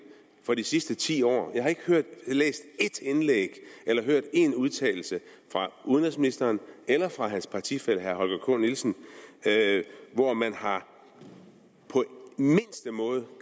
fra de sidste ti år og jeg har ikke læst ét indlæg eller hørt én udtalelse fra udenrigsministeren eller fra hans partifælle herre holger k nielsen hvor man på mindste måde